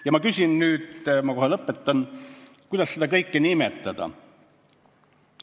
Ja ma küsin nüüd – ma kohe lõpetan –, kuidas seda kõike nimetada.